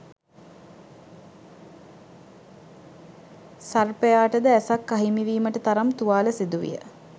සර්පයාට ද ඇසක් අහිමිවීමට තරම් තුවාල සිදුවිය.